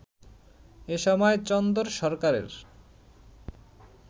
এসময় চন্দন সরকারের